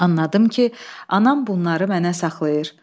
Anladım ki, anam bunları mənə saxlayır.